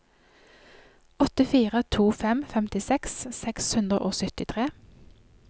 åtte fire to fem femtiseks seks hundre og syttitre